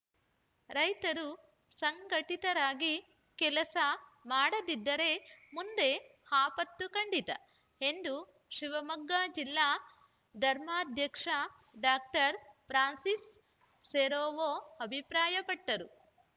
ರೈತರು ಸಂಘಟಿತರಾಗಿ ಕೆಲಸ ಮಾಡದಿದ್ದರೆ ಮುಂದೆ ಆಪತ್ತು ಖಂಡಿತ ಎಂದು ಶಿವಮೊಗ್ಗ ಜಿಲ್ಲಾ ಧರ್ಮಾಧ್ಯಕ್ಷ ಡಾಕ್ಟರ್ ಫ್ರಾನ್ಸಿಸ್‌ ಸೆರಾವೊ ಅಭಿಪ್ರಾಯಪಟ್ಟರು